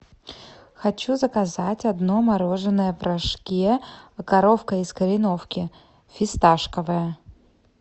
хочу заказать одно мороженое в рожке коровка из кореновки фисташковое